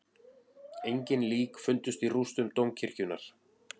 Engin lík fundust í rústum dómkirkjunnar